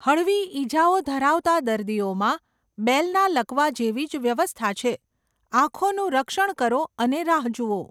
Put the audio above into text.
હળવી ઇજાઓ ધરાવતા દર્દીઓમાં, બેલના લકવા જેવી જ વ્યવસ્થા છે, આંખોનું રક્ષણ કરો અને રાહ જુઓ.